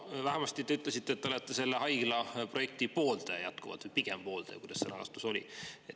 No vähemasti te ütlesite, et te olete jätkuvalt selle haiglaprojekti pooldaja – pigem pooldaja, või kuidas see sõnastus oli.